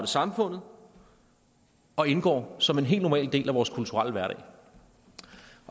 samfundet og indgår som en helt normal del af vores kulturelle hverdag